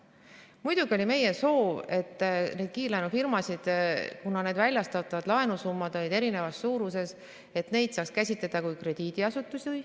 Muidugi oli meie soov, et kiirlaenufirmasid, väljastatavad laenud olid eri suuruses, saaks käsitleda kui krediidiasutusi.